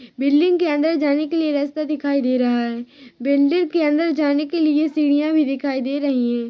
Building के अंदर जाने के लिए रस्ता दिखाई दे रहा है बिल्डिंग के अंदर जाने के लिए सीढियाँ भी दिखाई दे रही है।